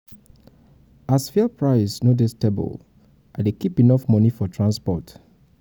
as fuel price no dey stable i dey keep enough moni for transport.